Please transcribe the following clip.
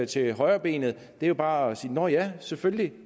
til højrebenet det er jo bare at sige nå ja selvfølgelig